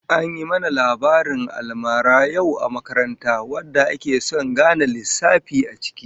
An yi mana labarin almara yau a makaranta wanda ake son gane lissafi a ciki